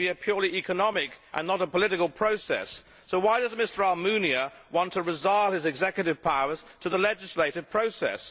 it should be a purely economic and not a political process. So why does Mr Almunia want to resile his executive powers to the legisative process?